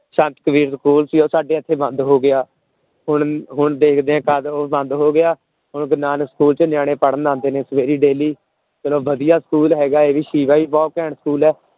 ਸੰਤ Kabir school ਸੀ ਉਹ ਸਾਡੇ ਇੱਥੇ ਬੰਦ ਹੋ ਗਿਆ, ਹੁਣ ਹੁਣ ਦੇਖਦੇ ਹਾਂ ਤਦ ਉਹ ਬੰਦ ਹੋ ਗਿਆ, ਹੁਣ ਗੁਰੂ ਨਾਨਕ school ਚ ਨਿਆਣੇ ਪੜ੍ਹਣ ਆਉਂਦੇ ਨੇ ਸਵੇਰੇ daily ਚਲੋ ਵਧੀਆ school ਹੈਗਾ ਇਹ ਵੀ ਬਹੁਤ ਘੈਂਟ school ਹੈ।